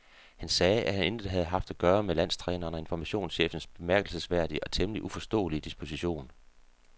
Han sagde, at han intet havde haft at gøre med landstrænerens og informationschefens bemærkelsesværdige og temmelig uforståelige disposition.